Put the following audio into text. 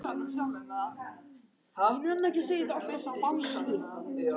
Þetta verður þéttara og þéttara.